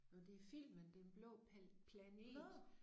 Nåh det filmen Den Blå Planet